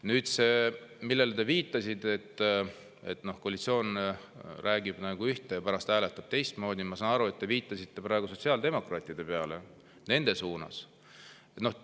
Nüüd see, millele te viitasite, et koalitsioon räägib ühte ja pärast hääletab teistmoodi – ma saan aru, et te viitasite praegu sotsiaaldemokraatide suunas.